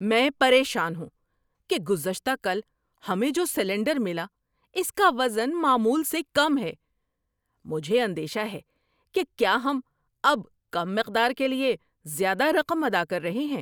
میں پریشان ہوں کہ گزشتہ کل ہمیں جو سلنڈر ملا اس کا وزن معمول سے کم ہے۔ مجھے اندیشہ ہے کہ کیا ہم اب کم مقدار کے لیے زیادہ رقم ادا کر رہے ہیں۔